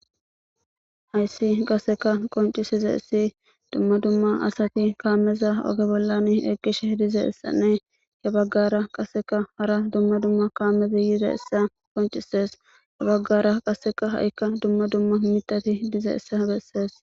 Hayssi qasseka qoncisizayssi dumma dumma assati kameza oge bollani eqishshe dizayssanne he baggara qasseka hara dumma dumma kametti yizaysa qoncisees ha baggara ha'ikka dumma dumma miitatti dizayssa besees